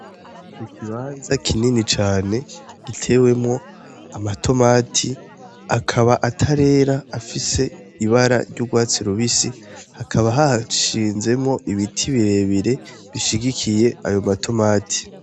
N'ikibanza kinini cane gitewemwo amatomate akaba atarera afise ibara ry'urwatsi rubisi hakaba hashinzemwo ibiti birebire bishigikiye ayo matomati.